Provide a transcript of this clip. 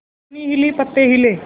टहनी हिली पत्ते हिले